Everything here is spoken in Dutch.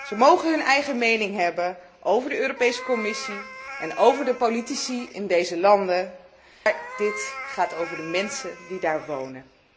Zij mogen hun eigen mening hebben over de Commissie en over de politici in deze landen, maar dit gaat over de mensen die daar wonen.